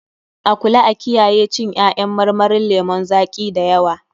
A kula a kiyaye cin ƴaƴan marmarin lemun zaƙi da yawa.